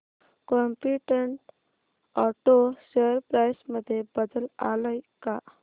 competent auto share price मध्ये बदल आलाय का